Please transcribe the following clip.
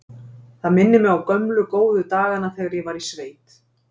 Það minnir mig á gömlu, góðu dagana þegar ég var í sveit.